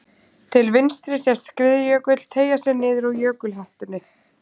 Til vinstri sést skriðjökull teygja sig niður úr jökulhettunni.